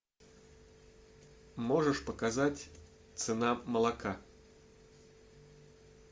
можешь показать цена молока